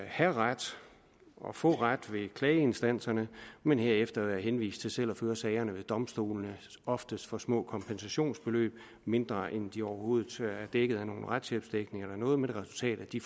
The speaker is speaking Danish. have ret og få ret ved klageinstanserne men herefter være henvist til selv at føre sagerne ved domstolene oftest for små kompensationsbeløb mindre end de overhovedet er dækket af af nogen retshjælpsdækning eller noget med det resultat at de